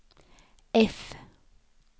F